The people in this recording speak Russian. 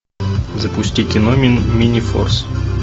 запусти кино минифорс